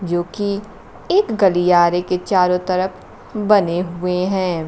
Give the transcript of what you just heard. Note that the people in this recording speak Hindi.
जो कि एक गलियारे के चारों तरफ बने हुए हैं।